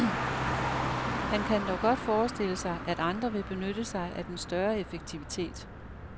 Han kan dog godt forestille sig, at andre vil benytte sig af den større effektivitet.